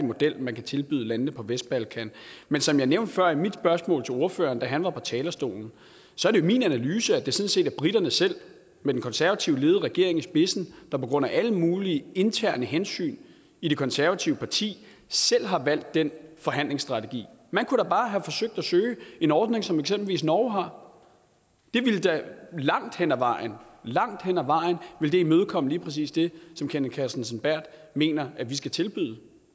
model man kan tilbyde landene på vestbalkan men som jeg nævnte før i mit spørgsmål til ordføreren da han var på talerstolen så er det min analyse at det sådan set er briterne selv med den konservativt ledede regering i spidsen der på grund af alle mulige interne hensyn i det konservative parti har valgt den forhandlingsstrategi man kunne da bare have forsøgt at søge en ordning som eksempelvis norge har det ville da langt hen ad vejen langt hen ad vejen imødekomme lige præcis det som kenneth kristensen berth mener at vi skal tilbyde